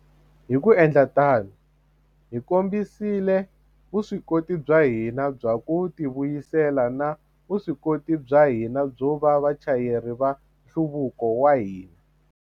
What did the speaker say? Hi ku endla tano, hi kombisile vuswikoti bya hina bya ku tivuyisela na vuswikoti bya hina byo va vachayeri va nhluvuko wa hina.